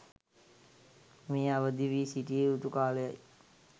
මේ අවදිවී සිටිය යුතු කාලයයි.